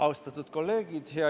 Austatud kolleegid!